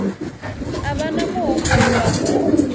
a vha na muhumbulo wa